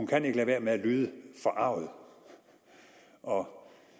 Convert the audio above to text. kan lade være med at lyde forarget og